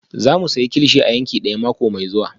Za mu sayi kilichi a yanki daya mako mai zuwa